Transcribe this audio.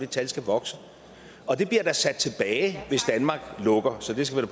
tal skal vokse og det bliver da sat tilbage hvis danmark lukker så det skal